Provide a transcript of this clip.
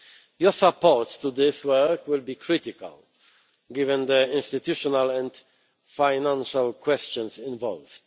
Your support for this work will be critical, given the institutional and financial questions involved.